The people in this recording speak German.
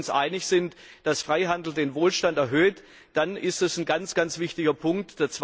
Wenn wir uns einig sind, dass Freihandel den Wohlstand erhöht, dann ist das ein ganz wichtiger Punkt.